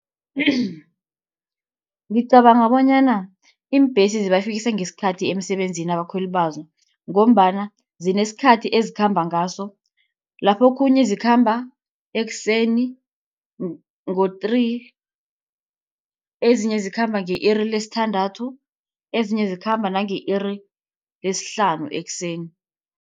Ngicabanga bonyana iimbesi zibafikisa ngesikhathi emsebenzini abakhweli bazo, ngombana zinesikhathi ezikhamba ngaso. Laphokhunye zikhamba ekuseni ngo-three, ezinye zikhamba nge-iri lesithandathu, ezinye zikhamba nange-iri lesihlanu ekuseni.